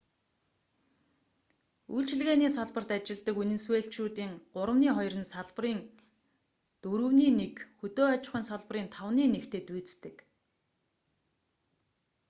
үйлчилгээний салбарт ажилладаг венесуэлчүүдийн гуравны хоёр нь салбарын дөрөвний нэг хөдөө аж ахуйн салбарын тавны нэгтэй дүйцдэг